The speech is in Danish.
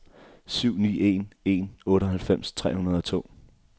syv ni en en otteoghalvfems tre hundrede og to